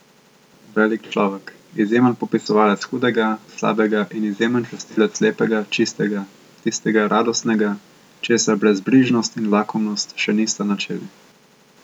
Velik človek, izjemen popisovalec hudega, slabega in izjemen častilec lepega, čistega, tistega radostnega, česar brezbrižnost in lakomnost še nista načeli.